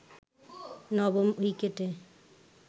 নবম উইকেটে